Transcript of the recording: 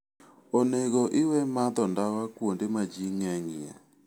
Onego iwe madho ndawa kuonde ma ji ng'enyie.